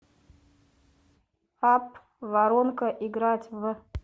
апп воронка играть в